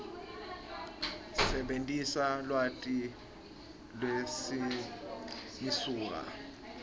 sebentisa lwati lwemisuka